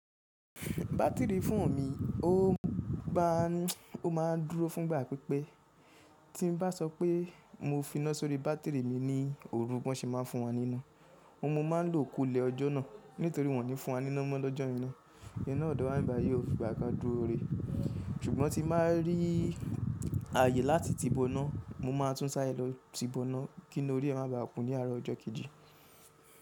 Batiri foonu mi, ó má a n dúró fún ìgbà pípẹ́. Tí n bá sọ pé mo finá sórí bátìrì mi ní òru, bi wọ́n se má a n fún wa níná. Mo má a ń lo kolè ọjọ́ náà nítorí wọ́n ní fún wa níná mọ́ lọ́jọ́ yen naa. Ina ọ̀dọ̀ wá ń'bibayi o fi ìgbà kan dúró ire. Ṣùgbọ́n tí n bá rí ààyè láti ti boná, mo máa tún sáré lọ ti boná, kí ina orí ẹ má ba kun ní àárọ̀ ọjọ́ kejì.